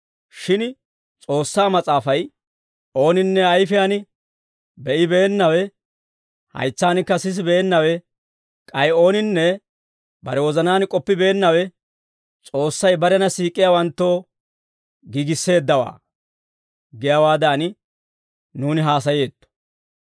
Shin S'oossaa Mas'aafay, «Ooninne ayfiyaan be'ibeennawe, haytsankka sisibeennawe, k'ay ooninne bare wozanaan k'oppibeennawe S'oossay barena siik'iyaawanttoo giigisseeddawaa» giyaawaadan nuuni haasayeetto.